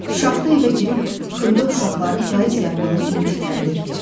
Şaxta evə girib xırda uşaqları payız yarpağı kimi titrədirdi.